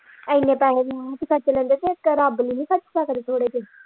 ਐਨੇ ਪੈਹੇ ਖਰਚ ਲੈਂਦੇ ਇੱਕ ਰੱਬ ਲਈ ਨਹੀਂ ਖਰਚ ਸਕਦੇ ਥੋੜੇ ਜਿਹੇ।